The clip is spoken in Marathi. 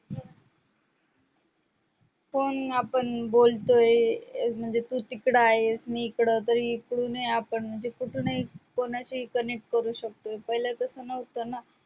कोण आपण बोलतोय म्हणजे तू तिकडे आहेस मी हिकडं तरी कुठूनही आपण म्हणजे कुठूनही कोणाशीही connect करू शकतो पहिलं तस नव्हतं ना